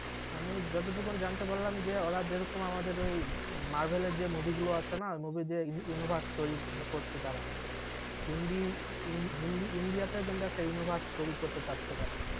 আমি যতটুকুন জানতে পারলাম যে ওরা যেরকম আমাদের ওই মার্ভেল এর যে movie গুলো আছে না তারা ইন্ডি ইন্ডি~ইন্ডিয়া তেও কিন্তু একটা universe তৈরী করতে চাচ্ছে তারা